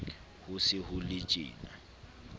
ho se ho le tjena